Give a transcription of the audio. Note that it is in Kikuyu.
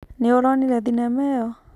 Nĩ ũronire thinema ĩyo.